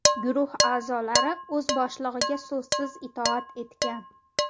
Guruh a’zolari o‘z boshlig‘iga so‘zsiz itoat etgan.